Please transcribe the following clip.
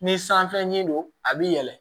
Ni sanfɛ ɲini don a b'i yɛlɛ